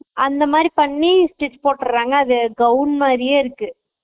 அந்த மாதிரி பண்ணி stitch போட்டுறாங்க அது gown மாதிரியே இருக்கு